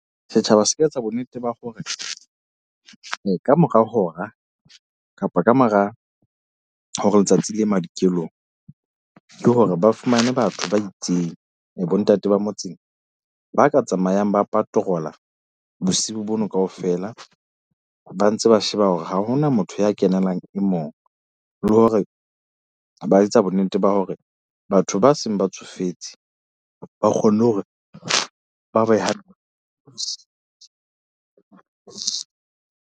Setjhaba se etsa bo nnete ba hore ka mora hora kapa kamora hore letsatsi le ye madikelong. Ke hore ba fumane batho ba itseng, ba bo ntate ba motseng ba ka tsamayang, ba patroller. Bosiu bono kaofela ba ntse ba sheba hore ha hona motho ya kenelang e mong le hore ba etsa bo nnete ba hore batho ba seng ba tsofetse ba kgonne hore ba beha.